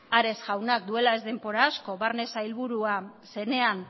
ares jaunak duela ez denbora asko barne sailburua zenean